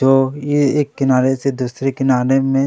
जो एक किनारे से दुसरे कीनारे में--